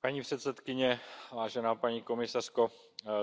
Paní předsedající, vážená paní komisařko,